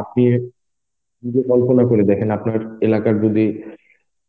আপনি নিজে কল্পনা করে দেখেন আপনার এলাকার যদি